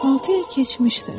Altı il keçmişdir.